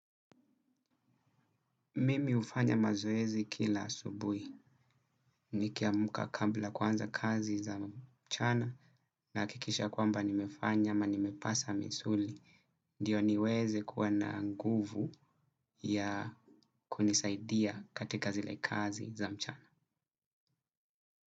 Mimi hufanya mazoezi kila asubuhi. Nikiamka kabla ya kuanza kazi za mchana nahakikisha kwamba nimefanya ama nimepasha misuli. Ndio niweze kuwa na nguvu ya kunisaidia katika zile kazi za mchana.